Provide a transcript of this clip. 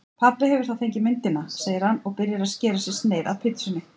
Pabbi hefur þá fengið myndina, segir hann og byrjar að skera sér sneið af pitsunni.